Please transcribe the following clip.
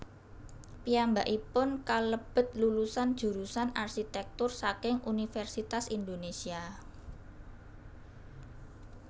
Piyambakipun kalebet lulusan jurusan arsitèktur saking Universitas Indonésia